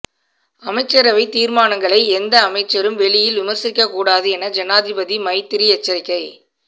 அமைச்சரவை தீர்மானங்களை எந்த அமைச்சரும் வெளியில் விமர்சிக்கக் கூடாது என ஜனாதிபதி மைத்திரி எச்சரிக்கை